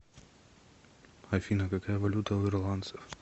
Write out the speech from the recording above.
афина какая валюта у ирландцев